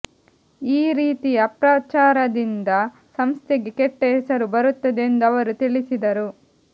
ಈ ರೀತಿಯ ಅಪಪ್ರಚಾರದಿಂದ ಸಂಸ್ಥೆಗೆ ಕೆಟ್ಟ ಹೆಸರು ಬರುತ್ತದೆ ಎಂದು ಅವರು ತಿಳಿಸಿದರು